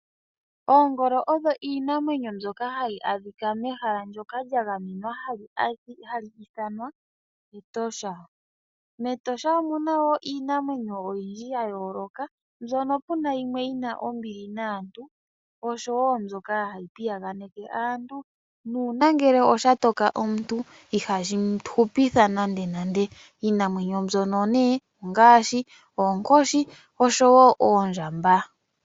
Oongolo oyo iinamwenyo ndjoka hayi adhika mehala lya gamenwa ndjoka haliithanwa Etosha. Metosha omuna woo iinamwenyo oyindji yayoloka ndjono puna yimwe yina ombili naantu nosho woo ndjoka hayi piyaganeka aantu nuuna ngele shatoka omuntu ihashi hupitha nande nande iinamwenyo mbika ongaashi née oonkoshi noondjamba.